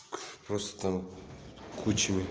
просто там кучами